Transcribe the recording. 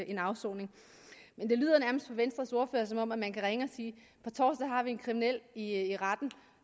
en afsoning men det lyder nærmest på venstres ordfører som om man kan ringe og sige på torsdag har vi en kriminel i retten